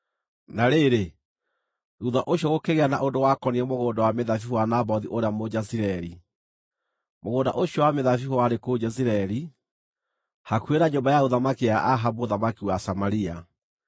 Na rĩrĩ, thuutha ũcio gũkĩgĩa na ũndũ wakoniĩ mũgũnda wa mĩthabibũ wa Nabothu ũrĩa Mũjezireeli. Mũgũnda ũcio wa mĩthabibũ warĩ kũu Jezireeli, hakuhĩ na nyũmba ya ũthamaki ya Ahabu mũthamaki wa Samaria.